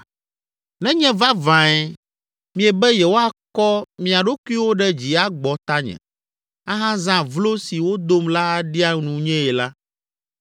Nenye vavãe miebe yewoakɔ mia ɖokuiwo ɖe dzi agbɔ tanye, ahazã vlo si wodom la aɖia nunyee la,